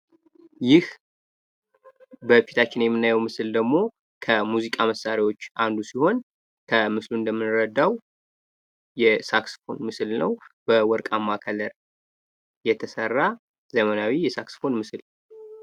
ይህ በፊታችን የምናየው ምስል ደግሞ ከሙዚቃ መሳሪያዎች አንዱ ሲሆን ከምስሉ እንደምንረዳው የሳክስፎን ምስል ነው። በወርቃማ ቀለም የተሰራ ዘመናዊ የሳክስፎን ምስል ነው።